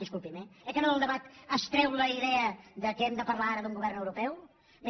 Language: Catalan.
disculpi’m eh oi que no del debat es treu la idea que hem de parlar ara d’un govern europeu bé